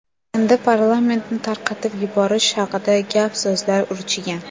Endi parlamentni tarqatib yuborish haqida gap-so‘zlar urchigan.